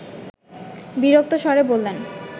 বিরক্ত স্বরে বললেন